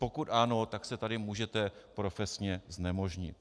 Pokud ano, tak se tady můžete profesně znemožnit.